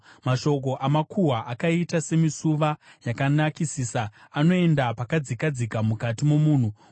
Mashoko amakuhwa akaita semisuva yakanakisisa; anoenda pakadzikadzika mukati momunhu.